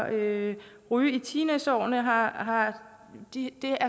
at ryge i teenageårene har har